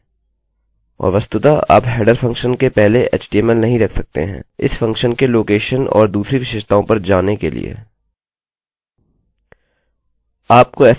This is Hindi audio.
और वस्तुतः आप हेडर header फंक्शनfuntion के पहले एचटीएमएलhtml नहीं रख सकते हैंइस फंक्शनfunctionके लोकेशनlocationऔर दूसरी विशेषताओं पर जाने के लिए